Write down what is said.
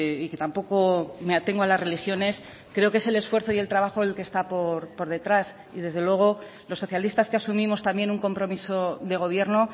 y que tampoco me atengo a las religiones creo que es el esfuerzo y el trabajo el que está por detrás y desde luego los socialistas que asumimos también un compromiso de gobierno